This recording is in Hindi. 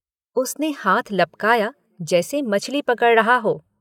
उसने हाथ लपकाया जैसे मछली पकड़ रहा हो।